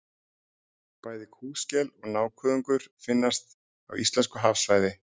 Bæði kúskel og nákuðungur finnast á íslensku hafsvæði.